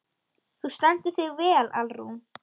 Þú stendur þig vel, Alrún!